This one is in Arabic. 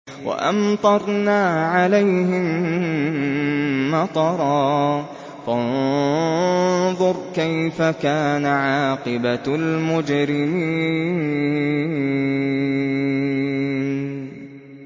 وَأَمْطَرْنَا عَلَيْهِم مَّطَرًا ۖ فَانظُرْ كَيْفَ كَانَ عَاقِبَةُ الْمُجْرِمِينَ